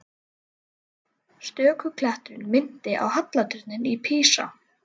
Stöku klettur minnti á halla turninn í Písa.